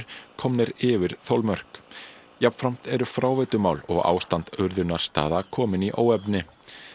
komnir yfir þolmörk jafnframt eru fráveitumál og ástand urðunarstaða komin í óefni